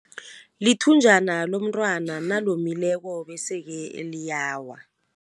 Lithunjana lomntwana nalomileko bese-ke liyawa.